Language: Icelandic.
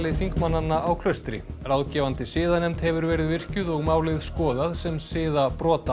þingmannanna á Klaustri ráðgefandi siðanefnd hefur verið virkjuð og málið skoðað sem